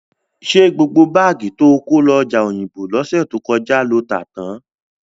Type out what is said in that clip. Ṣé gbogbo báàgì to kó lọ ọjà Òyìngbò lọ́sẹ̀ tó kọjá lo tà tán?